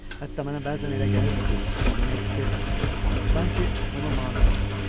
Hətta mənə bəzən elə gəlirdi ki, o mənə heç sevmir, sanki ona mane olaram.